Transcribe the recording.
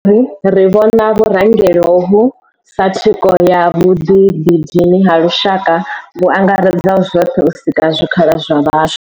Ri ri vhona vhurangeli hovhu sa thikho ya vhuḓidini ha lushaka vhu angaredzaho zwoṱhe u sika zwikhala zwa vhaswa.